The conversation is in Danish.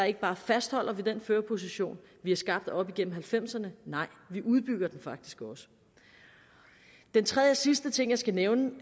ikke bare fastholder vi den førerposition vi har skabt op igennem halvfemserne nej vi udbygger den faktisk også den tredje og sidste ting jeg skal nævne